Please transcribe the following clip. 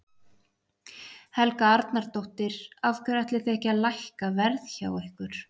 Helga Arnardóttir: Af hverju ætlið þið ekki að lækka verð hjá ykkur?